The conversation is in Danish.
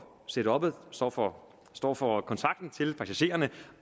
setuppet står for står for kontakten til passagererne